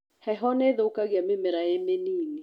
Heho nĩthũkagia mĩmera ĩmĩnini.